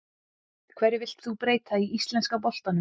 Hverju vilt þú breyta í íslenska boltanum?